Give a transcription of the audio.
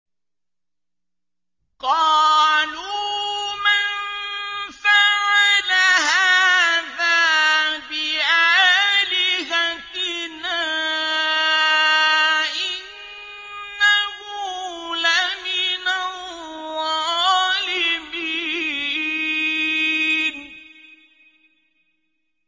قَالُوا مَن فَعَلَ هَٰذَا بِآلِهَتِنَا إِنَّهُ لَمِنَ الظَّالِمِينَ